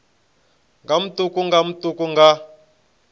nga matuku nga matuku nga